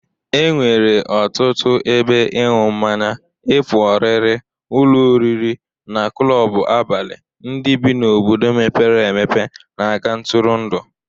E nwere ọtụtụ ebe ịñụ mmanya, ịpụ ọrịrị, ụlọ oriri na klọbụ abalị ndị bi n'obodo mepere empe na-aga ntụrụndụ.